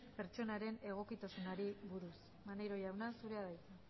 pertsonaren egokitasunari buruz maneiro jauna zurea da hitza